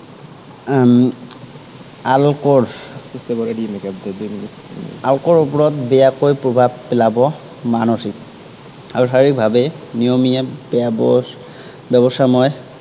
উম আলোকৰ আপোনালোকৰ ওপৰত বেয়াকৈ প্ৰভাৱ পেলাব মানসিক আৰু শাৰিৰীক ভাৱে, নিয়মীয়া ব্য়ৱ ব্য়ৱস্থাময়